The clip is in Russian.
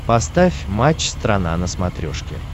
поставь матч страна на смотрешке